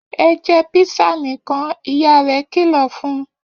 Ẹ jẹ písà nìkan! Ìyá rẹ̀ kìlọ̀ fún un.